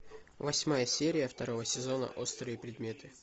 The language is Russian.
восьмая серия второго сезона острые предметы